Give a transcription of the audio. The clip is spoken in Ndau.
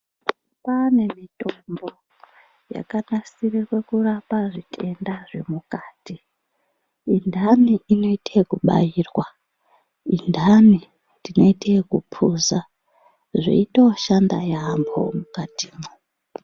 Kwaane mitombo yakanasirirwe kurapa zvitenda zvemukati indani inoita ekubairwa indani tinoite ekupuzwa zveitoshanda yaambo mukatimwo.